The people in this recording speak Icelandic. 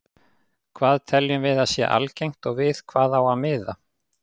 Hvað teljum við að sé algengt og við hvað á að miða?